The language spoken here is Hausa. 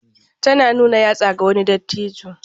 Tana nuna yatsa ga wani dattijo.